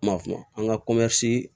M'a f'o ma an ka